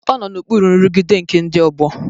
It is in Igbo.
Ọ nọ n'okpuru nrụgide nke ndị ọgbọ.